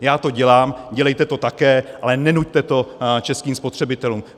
Já to dělám, dělejte to také, ale nenuťte to českým spotřebitelům.